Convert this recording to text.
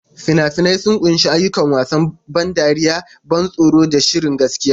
Fina-finai sun ƙunshi ayyuka, wasan ban dariya, ban tsoro, da shirin gaskiya.